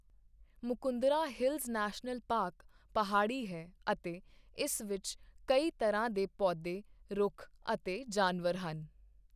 Mukundra hills national park ਪਹਾੜੀ ਹੈ ਅਤੇ ਇਸ ਵਿੱਚ ਕਈ ਤਰ੍ਹਾਂ ਦੇ ਪੌਦੇ, ਰੁੱਖ ਅਤੇ ਜਾਨਵਰ ਹਨ।